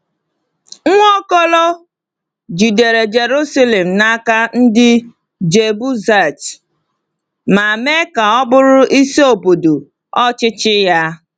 Nwaokolo jidere Jerusalem n’aka ndị Jebusait ma mee ka ọ bụrụ isi obodo ọchịchị ya.